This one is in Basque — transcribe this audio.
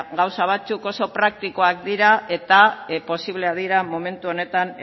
gauzak batzuk oso praktikoak dira eta posibleak dira momentu honetan